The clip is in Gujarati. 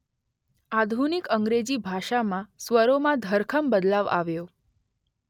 આધુનિક અંગ્રેજી ભાષામાં સ્વરોમાં ધરખમ બદલાવ આવ્યો.